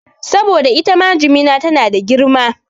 Saboda itama jimina tana da girma